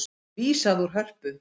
Vísað úr Hörpu